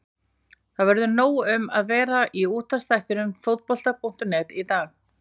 Það verður nóg um að vera í útvarpsþættinum Fótbolta.net í dag.